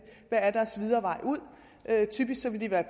hvad er deres videre vej typisk vil de være